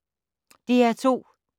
DR2